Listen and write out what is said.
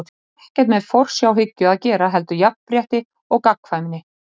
Það hefur ekkert með forsjárhyggju að gera heldur jafnrétti og gagnkvæmni.